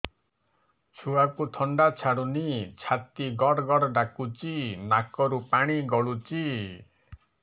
ଛୁଆକୁ ଥଣ୍ଡା ଛାଡୁନି ଛାତି ଗଡ୍ ଗଡ୍ ଡାକୁଚି ନାକରୁ ପାଣି ଗଳୁଚି